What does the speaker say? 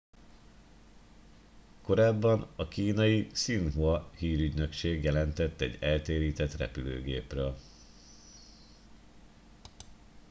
korábban a kínai xinhua hírügynökség jelentett egy eltérített repülőgépről